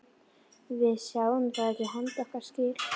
Við sáum ekki handa okkar skil.